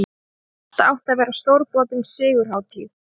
Þetta átti að verða stórbrotin sigurhátíð!